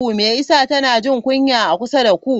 Me yasa tana jin kunya a kusa da ku?